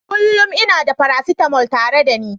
Kullum ina da paracetamol tare da ni.